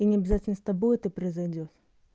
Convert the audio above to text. и не обязательно с тобой это произойдёт